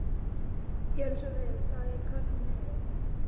Gjörðu svo vel og fáðu þér korn í nefið.